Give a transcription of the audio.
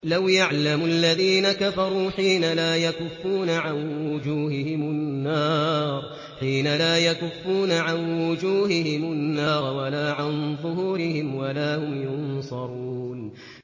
لَوْ يَعْلَمُ الَّذِينَ كَفَرُوا حِينَ لَا يَكُفُّونَ عَن وُجُوهِهِمُ النَّارَ وَلَا عَن ظُهُورِهِمْ وَلَا هُمْ يُنصَرُونَ